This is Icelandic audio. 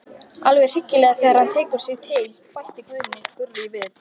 Alveg hryllilegur þegar hann tekur sig til, bætti Gurrý við.